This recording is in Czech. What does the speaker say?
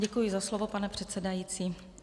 Děkuji za slovo, pane předsedající.